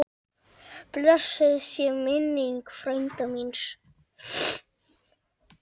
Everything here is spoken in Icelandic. Blessuð sé minning frænda míns.